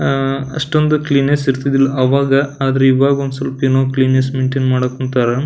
ಅಷ್ಟೊಂದು ಕ್ಲೀನೆಸ್ಸ್ ಇರ್ತಿದಿಲ್ಲ ಆವಾಗ ಆದ್ರ ಈವಾಗ ಒಂದ್ ಸೊಲ್ಪ್ ಏನೊ ಕ್ಲೀನೆಸ್ಸ್ ಮೇನ್ಟೇನ್ ಮಾಡಾಕ್ ಕುಂತಾರ .